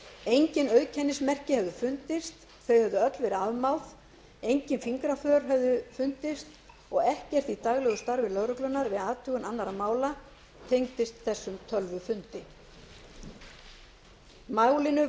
engin auðkennismerki hefðu fundist þau hefðu öll verið afmáð engin fingraför hefðu fundist og ekkert í daglegu starfi lögreglunnar við athugun annarra mála tengdist þessum tölvufundi málinu